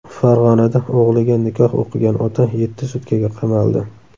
Farg‘onada o‘g‘liga nikoh o‘qigan ota yetti sutkaga qamaldi .